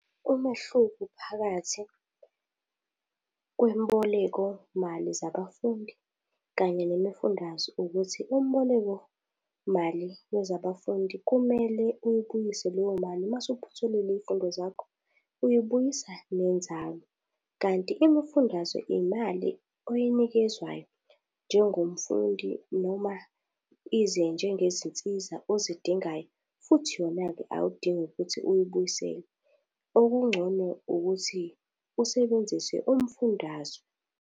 Umehluko phakathi kwemboleko mali zabafundi kanye nemifundaze ukuthi umboleko mali wezabafundi, kumele uyibuyise leyo mase uphothulile iy'fundo zakho, uyibuyisa nenzalo. Kanti imifundaze imali oyinikezwayo njengomfundi noma ize njengezinsiza ozidingayo futhi yona-ke awudingi ukuthi uyibuyisele. Okungcono ukuthi usebenzise umfundaze.